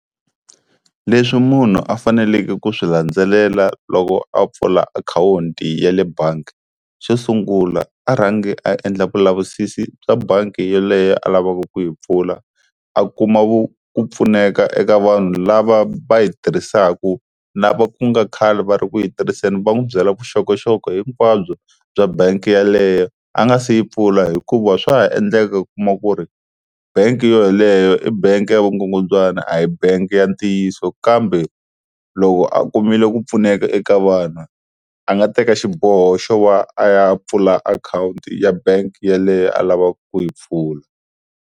Leswi munhu a faneleke ku swi landzelela loko a pfula akhawunti ya le bangi, xo sungula a rhangi a endla vulavisisi bya bangi yeleyo a lavaka ku yi pfula a kuma ku ku pfuneka eka vanhu lava va yi tirhisaka lava ku nga khale va ri ku yi tirhiseni va n'wi byela vuxokoxoko hinkwabyo bya bangi yeleyo a nga se yi pfula, hikuva swa ha endleka u kuma ku ri bangi yo yeleyo i bangi ya vukungundzwana a hi bangi ya ntiyiso kambe loko a kumile ku pfuneka eka vano a nga teka xiboho xo va a ya pfula akhawunti ya bangi yeleyo a lavaka ku yi pfula.